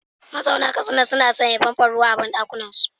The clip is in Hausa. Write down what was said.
Mazauna Katsina sun sanya famfon ruwa a banɗakunansu.